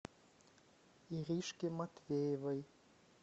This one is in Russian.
иришке матвеевой